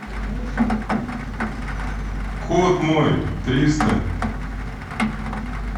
код мой триста